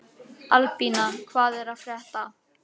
Albína, hvað er að frétta?